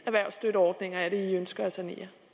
erhvervsstøtteordninger er det venstre ønsker